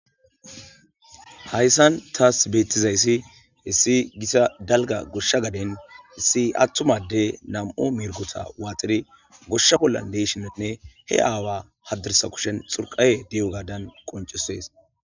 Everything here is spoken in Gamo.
Hayssan taas beettizayssi hessi gisa dalga goshsha gaden isi attumade nam7o mirgota waaxiri goshsha bollan deyshinenne he aawa hadirsa kushen xurqaye di7o gadan qoncusees.